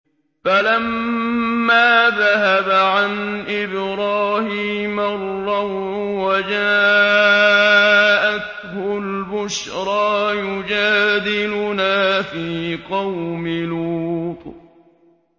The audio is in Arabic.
فَلَمَّا ذَهَبَ عَنْ إِبْرَاهِيمَ الرَّوْعُ وَجَاءَتْهُ الْبُشْرَىٰ يُجَادِلُنَا فِي قَوْمِ لُوطٍ